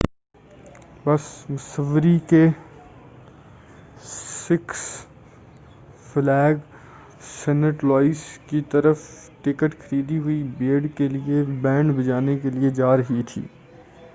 بس مسوری کے Six Flag Saint Louis کی طرف ٹکٹ خریدی ہوئی بھیڑ کے لئے بینڈ بجانے کے لئے جارہی تھی